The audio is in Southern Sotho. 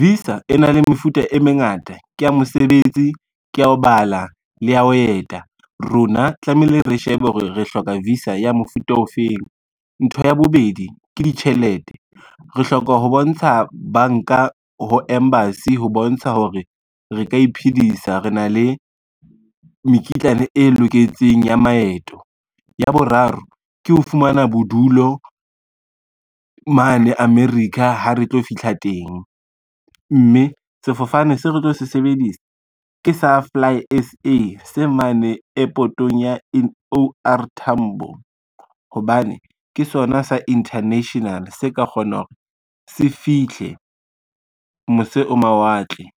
Visa e na le mefuta e mengata ke ya mosebetsi, ke ya ho bala, le ya ho eta, rona tlamehile re shebe hore re hloka visa ya mofuta ofeng. Ntho ya bobedi ke ditjhelete, re hloka ho bontsha banka ho embassy ho bontsha hore re ka iphedisa re na le mekitlane e loketseng ya maeto. Ya boraro ke ho fumana bodulo mane America ha re tlo fihla teng, mme sefofane se re tlo se sebedisa ke sa Fly S_A se mane airport-ong ya O_R Tambo hobane ke sona sa international, se ka kgona hore se fihle mose ho mawatle.